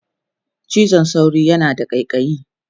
cizon sauro yana da ƙaiƙayi